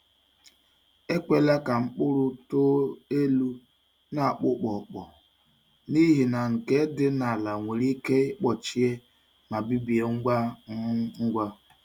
Ekwela ka akpa mkpụrụ too elu n’akpụkpọkpọ, n’ihi na nke dị n’ala nwere ike ịkpọchie ma bibie ngwa um ngwa.